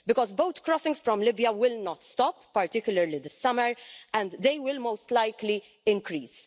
Because boat crossings from Libya will not stop, particularly in the summer, and they will most likely increase.